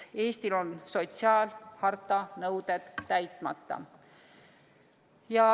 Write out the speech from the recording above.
Eestil on sotsiaalharta nõuded täitmata.